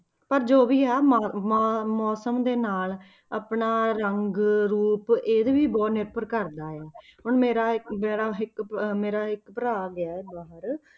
ਪਰ ਜੋ ਵੀ ਆ ਮ~ ਮ~ ਮੌਸਮ ਦੇ ਨਾਲ ਆਪਣਾ ਰੰਗ ਰੂਪ ਇਹਦੇ ਵੀ ਬਹੁਤ ਨਿਰਭਰ ਕਰਦਾ ਆ ਹੁਣ ਮੇਰਾ ਮੇਰਾ ਇੱਕ ਮੇਰਾ ਇੱਕ ਭਰਾ ਗਿਆ ਬਾਹਰ,